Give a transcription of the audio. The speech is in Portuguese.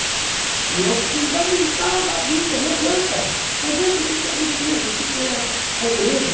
E é o fundamental da vida, não adianta, não adianta o que é riqueza, o que é pobreza,